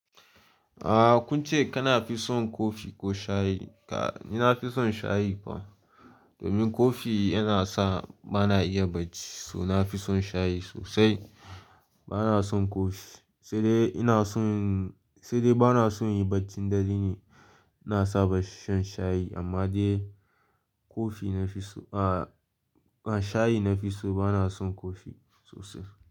Ah kun ce kana fi son kofi ko shayi? Ka, ni na fi son shayi fa. Domin kofi yana sa ba na iya bacci, so na fi son shayi sosai. Ba na son kofi, sai dai ina son, sai dai ba na son yin bacci darene. Na saba shan shayi amma dai kofi na fi so, ah, ah shayi na fi so ba na son kofi sosai.